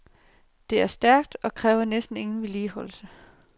Det er stærkt og kræver næsten ingen vedligeholdelse.